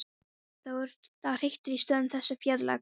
Það hriktir í stoðum þessa þjóðfélags.